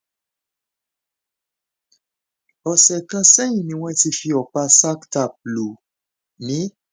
ọsẹ kan sẹyìn ni wọn ti fi ọpá sac tapped lù mí